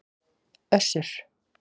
Össur